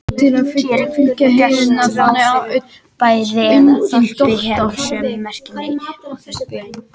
Hér er gert ráð fyrir að bær eða þorp hafi sömu merkingu og þéttbýli.